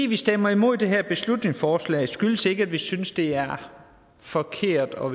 vi stemmer imod det her beslutningsforslag skyldes ikke at vi synes det er forkert og